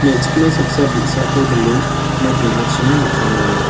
me·chikma saksa bi·sako dile nok ning·achina napangenga.